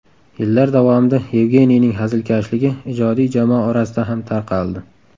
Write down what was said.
Yillar davomida Yevgeniyning hazilkashligi ijodiy jamoa orasida ham tarqaldi.